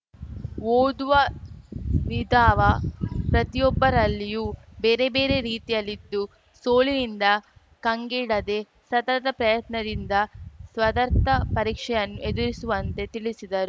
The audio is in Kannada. ಊದುವ ವಿಧಾವ ಪ್ರತಿಯೊಬ್ಬರಲ್ಲಿಯೂ ಬೇರೆಬೇರೆ ರೀತಿಯಲಿದ್ದು ಸೋಲಿನಿಂದ ಕಂಗೆಡದೆ ಸತತ ಪ್ರಯತ್ನದಿಂದ ಸ್ಪದಾರ್ತ ಪರೀಕ್ಷೆಯನ್ನು ಎದುರಿಸುವಂತೆ ತಿಳಿಸಿದರು